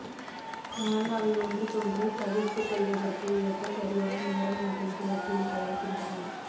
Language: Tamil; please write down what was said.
ஆனால் அவை ஒன்றுக்கொன்று தவிர்த்துக்கொள்வதற்கு ஏற்ப சரியான நேரம் மற்றும் சுழற்சியில் பயணிக்கின்றன